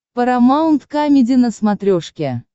парамаунт камеди на смотрешке